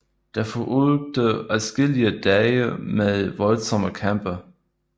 Der fulgte adskillige dage med voldsomme kampe